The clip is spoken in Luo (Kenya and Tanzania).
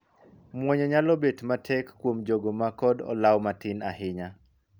Muonyo nyalo bet matek kuom jogo ma kod olaw matin ahinya.